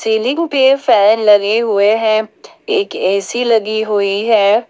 Ceiling पे fan लगे हुए हैं एक ए_सी लगी हुई है।